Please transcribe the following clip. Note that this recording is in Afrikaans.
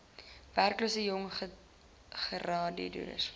werklose jong gegradueerdes